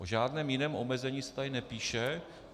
O žádném jiném omezení se tady nepíše.